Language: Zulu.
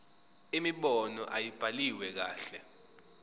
imibono ayibhaliwe kahle